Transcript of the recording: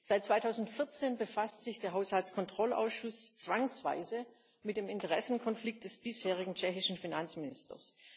Seit 2014 befasst sich der Haushaltskontrollausschuss zwangsweise mit dem Interessenkonflikt des bisherigen tschechischen Finanzministers.